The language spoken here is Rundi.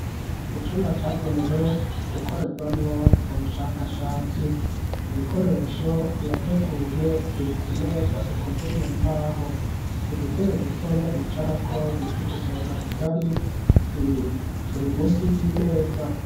Icumba cagenewe gukorerwamwo ubushakashatsi ibikoresho birateguye biri ku meza ikoze mu mbaho udutebe dutonya bicarako bita udusonga bugari turi musi y'imeza.